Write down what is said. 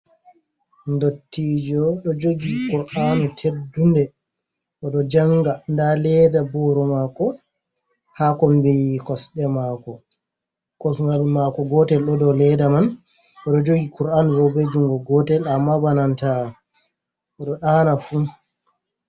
Dottijo ɗo jogi kur'anu teddunde oɗo janga, nda leda boro mako ha kombiyi kosɗe mako, kosgul mako gotel ɗo dou ledda man, oɗo jogi kur'anu bo ɓe jungo gotel, amma bananta oɗo ɗaana fu.